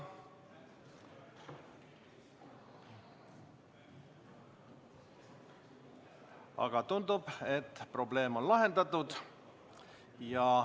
Aga tundub, et probleem on lahendatud.